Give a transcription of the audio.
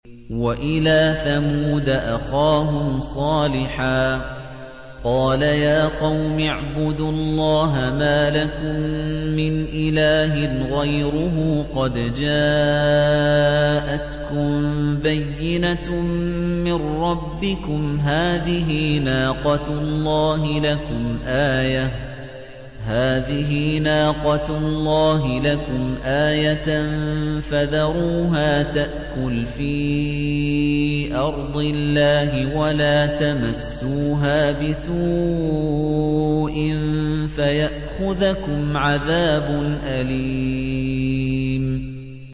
وَإِلَىٰ ثَمُودَ أَخَاهُمْ صَالِحًا ۗ قَالَ يَا قَوْمِ اعْبُدُوا اللَّهَ مَا لَكُم مِّنْ إِلَٰهٍ غَيْرُهُ ۖ قَدْ جَاءَتْكُم بَيِّنَةٌ مِّن رَّبِّكُمْ ۖ هَٰذِهِ نَاقَةُ اللَّهِ لَكُمْ آيَةً ۖ فَذَرُوهَا تَأْكُلْ فِي أَرْضِ اللَّهِ ۖ وَلَا تَمَسُّوهَا بِسُوءٍ فَيَأْخُذَكُمْ عَذَابٌ أَلِيمٌ